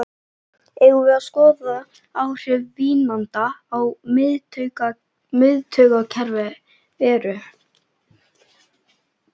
Eigum við að skoða hver áhrif vínanda á miðtaugakerfið eru?